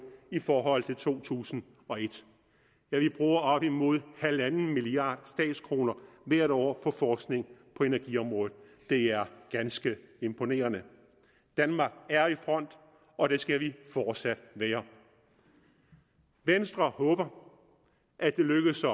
i forhold til to tusind og et ja vi bruger op imod halvanden milliard statskroner hvert år på forskning på energiområdet det er ganske imponerende danmark er i front og det skal vi fortsat være venstre håber at det lykkes at